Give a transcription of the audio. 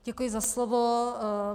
Děkuji za slovo.